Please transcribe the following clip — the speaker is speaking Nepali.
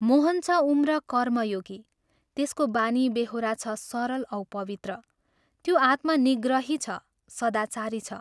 मोहन छ उम्र कर्मयोगी त्यसको बानीबेहोरा छ सरल औ पवित्र त्यो आत्मनिग्रही छ सदाचारी छ।